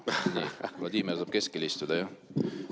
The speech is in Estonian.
Vladimir saab keskel istuda, jah.